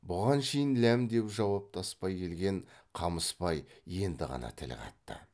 бұған шейін ләм деп жауаптаспай келген қамысбай енді ғана тіл қатты